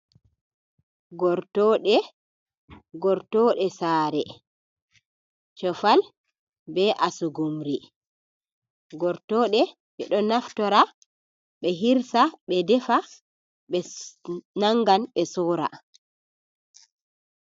Gortoɗe, gortoɗe sare, cofal be asugumri, gortoɗe ɓeɗo naftora be hirsa, ɓe defa, ɓe nangan ɓe sora.